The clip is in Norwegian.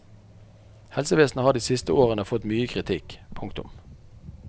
Helsevesenet har de siste årene fått mye kritikk. punktum